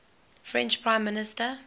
french prime minister